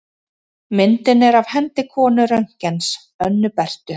Myndin er af hendi konu Röntgens, Önnu Berthu.